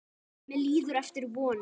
Mér líður eftir vonum.